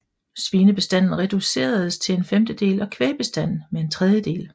Svinebestanden reduceredes til en femtedel og kvægbestanden med en tredjedel